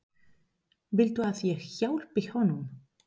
Viltu að ég hjálpi honum?